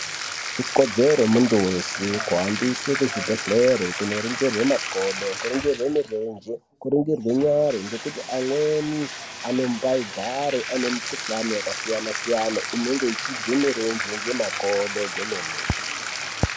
Ikodzero yemuntu weshe kuhambise kuzvibhedhlera kuvheneka makodo ,kuningirwe mirenje ,kuningirwe nyari ngekuti amweni anombaigare ane mikuhlani yakasiyana siyana inenge yairye mirenje nemakodo kwemene.